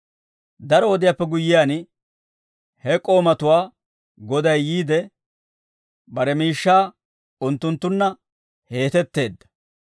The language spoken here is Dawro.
«Daro wodiyaappe guyyiyaan, he k'oomatuwaa goday yiide, bare miishshaa unttunttunna heetetteedda.